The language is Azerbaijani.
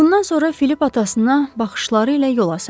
Bundan sonra Filip atasına baxışları ilə yola saldı.